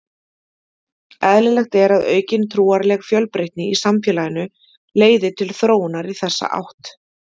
Eðlilegt er að aukin trúarleg fjölbreytni í samfélaginu leiði til þróunar í þessa átt.